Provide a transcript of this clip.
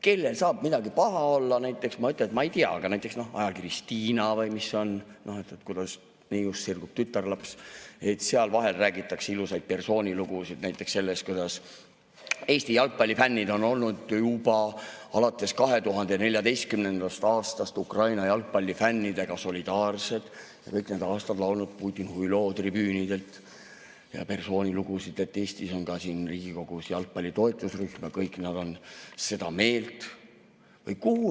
Kellel saab midagi olla sellele, no ma ei tea, et näiteks ajakirjas Stiina, mis, kuidas tütarlapsest sirgub neiu, räägitakse vahel ilusaid lugusid näiteks sellest, kuidas Eesti jalgpallifännid on juba alates 2014. aastast olnud Ukraina jalgpallifännidega solidaarsed ja kõik need aastad laulnud tribüünidel "Putin huilo", ja lugusid, et Eestis on ka Riigikogus jalgpalli toetusrühm ja kõik nad on sama meelt?